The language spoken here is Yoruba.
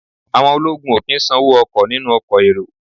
Àwọn ológun ò kí ń sanwó ọkọ̀ nínú ọkọ̀ èrò